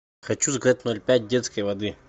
хочу заказать ноль пять детской воды